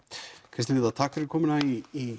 Kristín Linda takk fyrir komuna í